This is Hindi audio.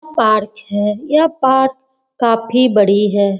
पार्क है यह पार्क काफी बड़ी है।